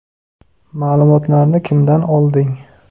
Ma’lumotlarni kimdan olding?